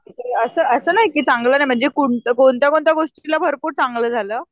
असं असं नाही की चांगलं नाही म्हणजे कोणत्या कोणत्या गोष्टीला भरपूर चांगलं झालं.